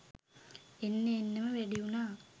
එන්න එන්නම වැඩි වුනා.